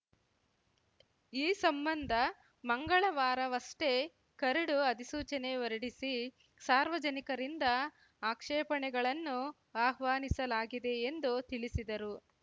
ಈ ಸಂಬಂಧ ಮಂಗಳವಾರವಷ್ಟೇ ಕರಡು ಅಧಿಸೂಚನೆ ಹೊರಡಿಸಿ ಸಾರ್ವಜನಿಕರಿಂದ ಆಕ್ಷೇಪಣೆಗಳನ್ನು ಆಹ್ವಾನಿಸಲಾಗಿದೆ ಎಂದು ತಿಳಿಸಿದರು